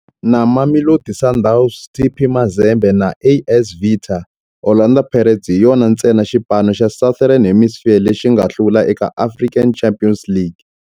Na Mamelodi Sundowns, TP Mazembe na AS Vita, Orlando Pirates hi yona ntsena xipano xa Southern Hemisphere lexi nga hlula eka African Champions League.